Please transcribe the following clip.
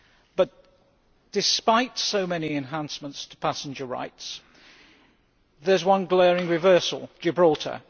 But despite so many enhancements to passenger rights, there is one glaring reversal Gibraltar.